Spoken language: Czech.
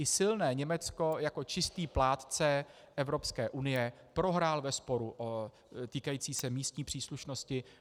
I silné Německo jako čistý plátce Evropské unie prohrálo ve sporu týkajícím se místní příslušnosti.